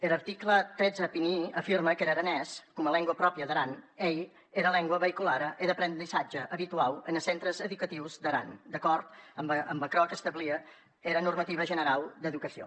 er article cent i trenta un afirme qu’er aranés coma lengua pròpria d’aran ei era lengua veïculara e d’aprendissatge abituau enes centres educatius d’aran d’acòrd damb aquerò qu’establie era normativa generau d’educacion